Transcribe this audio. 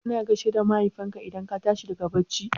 Kana gaishe da Mahaifinka idan ka tashi daga bacci?